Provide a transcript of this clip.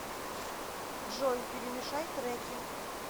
джой перемешай треки